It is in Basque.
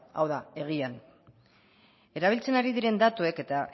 hau da egian erabiltzen ari diren datuek eta